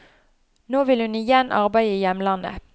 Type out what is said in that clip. Nå vil hun igjen arbeide i hjemlandet.